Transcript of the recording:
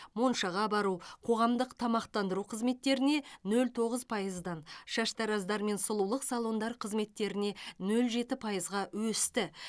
моншаға бару қоғамдық тамақтандыру қызметтеріне нөл тоғыз пайыздан шаштараздар мен сұлулық салондар қызметтеріне нөл жеті пайызға өсті